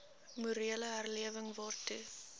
morele herlewing waartoe